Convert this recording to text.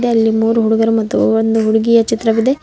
ಇಲ್ಲಿ ಮೂರು ಹುಡುಗರು ಮತ್ತು ಒಂದು ಹುಡುಗಿಯ ಚಿತ್ರವಿದೆ.